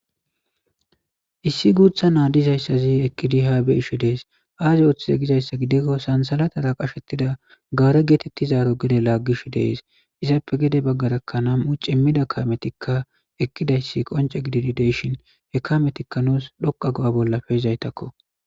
issi guutha naadizayssazi ekkidi haabe isho dees aaze ooththize gizayssa gidikko sansalatara qashettida gaare geetetti zaaro gede laaggish dees izappe gede baggarakkanaam7u cimmida kayametikka ekkidayssi qonce gididideyshin he kayametikka nuus dhoqa go7a bollafe izaytakko